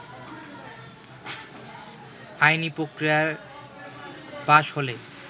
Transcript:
আইনি প্রক্রিয়ায় পাশ হলে